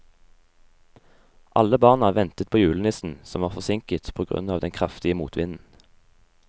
Alle barna ventet på julenissen, som var forsinket på grunn av den kraftige motvinden.